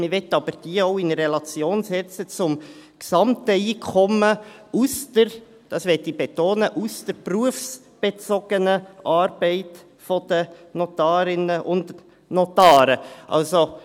Man möchte aber diese auch in Relation zum gesamten Einkommen aus der – das möchte ich betonen – berufsbezogenen Arbeit der Notarinnen und Notare setzen.